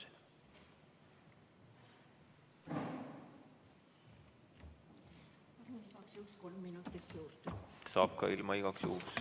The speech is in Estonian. Küsin igaks juhuks kolm minutit juurde.